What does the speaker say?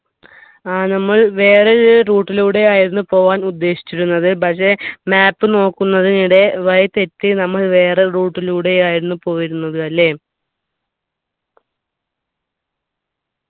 ഏർ നമ്മൾ വേറേ route ലൂടെ ആയിരുന്നു പോവാൻ ഉദ്ദേശിച്ചിരുന്നത് പക്ഷെ map നോക്കുന്നിനിടെ വഴി തെറ്റി നമ്മൾ വേറെ route ലൂടെയായിരുന്നു പോയിരുന്നത് അല്ലെ